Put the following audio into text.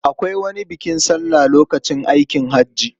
Akwai wani bukin sallan lokacin aikin haji.